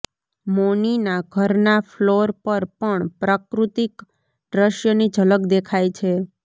મૌનીના ઘરના ફ્લોર પર પણ પ્રાકૃતિક દ્રશ્યની ઝકલ દેખાય છે